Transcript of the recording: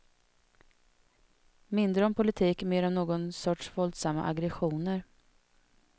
Mindre om politik, mer om någon sorts våldsamma aggressioner.